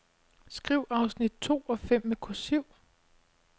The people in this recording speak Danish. Skriv afsnit to og fem med kursiv.